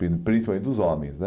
Prin principalmente dos homens, né?